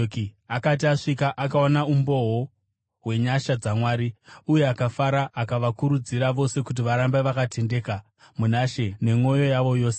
Akati asvika, akaona umboo hwenyasha dzaMwari, uye akafara, akavakurudzira vose kuti varambe vakatendeka kuna She nemwoyo yavo yose.